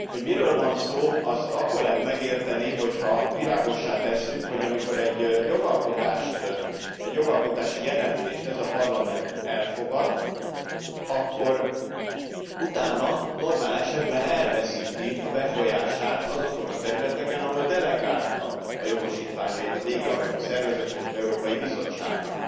Hogy miről van, szó azt akkor lehet megérteni, hogyha világossá tesszük, hogy amikor egy jogalkotási jelentést ez a Parlament elfogad, akkor utána normál esetben elveszíti a befolyását azokon a területeken, ahol delegálta a jogosítványait a végrehajtó szervezetnek, az Európai Bizottságnak.